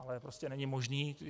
Ale prostě není možné...